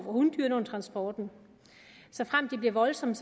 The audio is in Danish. hundyrene under transporten såfremt de bliver voldsomme